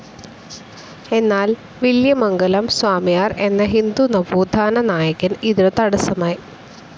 എന്നാൽ വില്വമംഗലം സ്വാമിയാർ എന്ന ഹിന്ദു നവോത്ഥന നായകൻ ഇതിനു തടസ്സമായി.